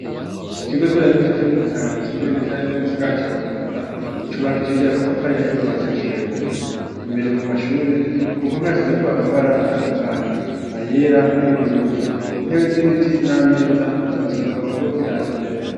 Ikigo ndera abigisha co ku Mutanga gitumbereye neza na neza mu gisagara ca Bujumbura, cubakishije amatafari ahiye kuva hasi gushika hejuru, imbere mu mashure ku mpome hasizeko amabara atandukanye ayera, ay'ubururu, intebe z'ibiti n'ameza bitonze umurongo biraba imbere.